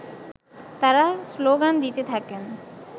তারা শ্লোগান দিতে থাকেন